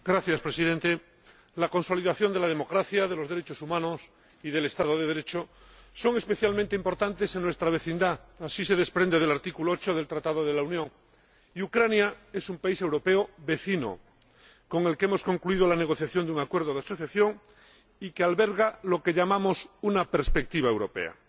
Señor Presidente, la consolidación de la democracia, de los derechos humanos y del Estado de Derecho es especialmente importante en nuestra vecindad así se desprende del artículo 8 del Tratado de la Unión y Ucrania es un país europeo vecino, con el que hemos concluido la negociación de un acuerdo de asociación y que alberga lo que llamamos una perspectiva europea.